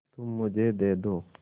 तुम मुझे दे दो